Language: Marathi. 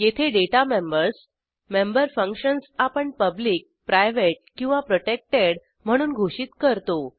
येथे डेटा मेंबर्स मेंबर फंक्शन्स आपण पब्लिक प्रायव्हेट किंवा प्रोटेक्टेड म्हणून घोषित करतो